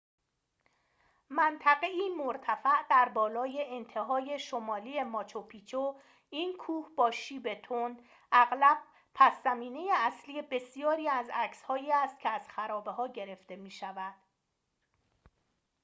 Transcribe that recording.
منطقه‌ای مرتفع در بالای انتهای شمالی ماچو پیچو این کوه با شیب تند اغلب پس‌زمینه اصلی بسیاری از عکسهایی است که از خرابه‌ها گرفته می‌شود